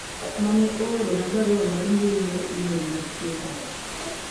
mane oorona barua mar mbui mar email machiegni